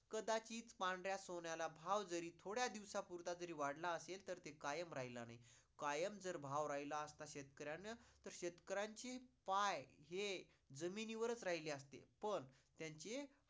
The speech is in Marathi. कदाचित पांढऱ्या सोन्याला भाव जरी थोड्या दिवसापूर्ता जरी वाढला असेल तरी कायम राहिला नाही. कायम जर भाव राहिला असता शेतकऱ्यांना, तर शेतकऱ्यांची पाय हे जमिनी वरच राहिले असते पण त्यांचे